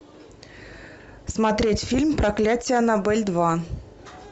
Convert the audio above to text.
смотреть фильм проклятие аннабель два